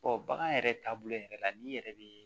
bagan yɛrɛ taabolo yɛrɛ la n'i yɛrɛ be